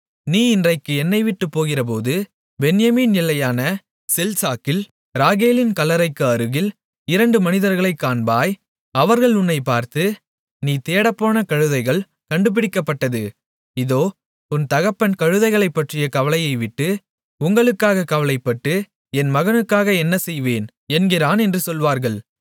நீ இன்றைக்கு என்னைவிட்டுப் போகிறபோது பென்யமீன் எல்லையான செல்சாகில் ராகேலின் கல்லறைக்கு அருகில் இரண்டு மனிதர்களைக் காண்பாய் அவர்கள் உன்னைப் பார்த்து நீ தேடப்போன கழுதைகள் கண்டுபிடிக்கப்பட்டது இதோ உன் தகப்பன் கழுதைகளைப்பற்றிய கவலையைவிட்டு உங்களுக்காக கவலைப்பட்டு என் மகனுக்காக என்ன செய்வேன் என்கிறான் என்று சொல்வார்கள்